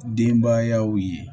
Denbayaw ye